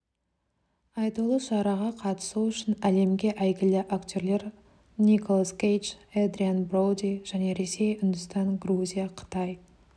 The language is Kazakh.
айтулы шараға қатысу үшін әлемге әйгілі актерлер николас кейдж эдриан броуди және ресей үндістан грузия қытай